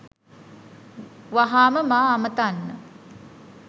වහාම මා අමතන්න